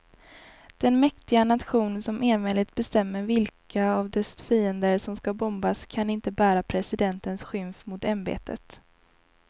Den mäktiga nation som enväldigt bestämmer vilka av dess fiender som ska bombas kan inte bära presidentens skymf mot ämbetet.